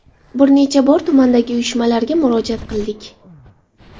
Bir necha bor tumandagi uyushmalarga murojaat qildik.